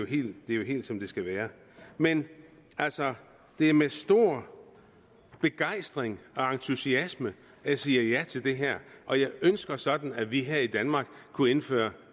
det er jo helt som det skal være men altså det er med stor begejstring og entusiasme at jeg siger ja til det her og jeg ønsker sådan at vi her i danmark kunne indføre